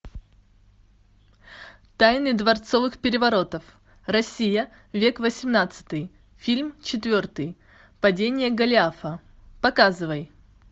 тайны дворцовых переворотов россия век восемнадцатый фильм четвертый падение голиафа показывай